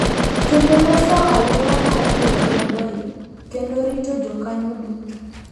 Kendo loso aluora mar riwo lwedoi kendo rito jokanyo duto.